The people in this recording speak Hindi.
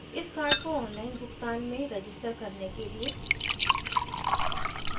इस card को online भुगतान में register करने के लिए